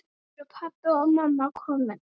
Eru pabbi og mamma komin?